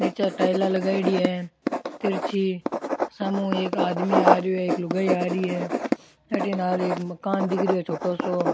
निचे टाइला लगाईड़ी है तिरछी सामने एक आदमी आ रेहो है एक लुगाई आ रही है अठे नाल एक मकान दिख रेहो है छोटो सो।